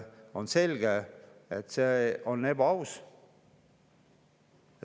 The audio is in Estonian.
On selge, et see on ebaaus.